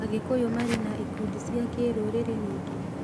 Agĩkũyũ marĩ na ikundi cia kĩrũrĩrĩ ningĩ?